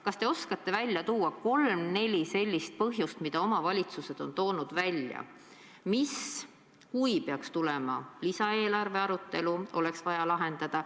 Kas te oskate välja tuua kolm-neli probleemi, mida omavalitsused on nimetanud ja mis peaks siis, kui ehk tuleb lisaeelarve arutelu, lahendama?